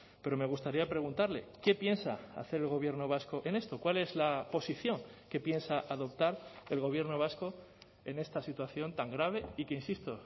pero me gustaría preguntarle qué piensa hacer el gobierno vasco en esto cuál es la posición que piensa adoptar el gobierno vasco en esta situación tan grave y que insisto